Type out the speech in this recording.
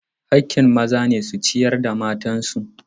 Haƙƙin maza ne su ciyar da matan su.